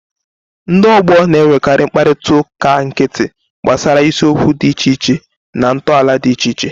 Ndị ọgbọ na-enwekarị mkparịta ụka nkịtị gbasara isiokwu dị iche iche na ntọala dị iche iche.